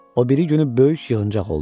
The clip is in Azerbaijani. O biri günü böyük yığıncaq oldu.